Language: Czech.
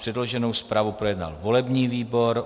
Předloženou zprávu projednal volební výbor.